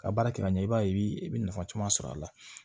Ka baara kɛ ka ɲɛ i b'a ye i bɛ nafa caman sɔrɔ a la